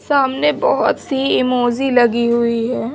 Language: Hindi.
सामने बहुत सी इमोजी लगी हुई है।